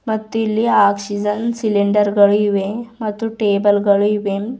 ಮತ್ತಿಲ್ಲಿ oxygen cylinder ಗಳು ಇವೆ ಮತ್ತು ಟೇಬಲ್ ಗಳು ಇವೆ.